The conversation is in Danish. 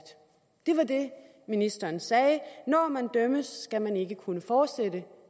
det var det ministeren sagde når man dømmes skal man ikke kunne fortsætte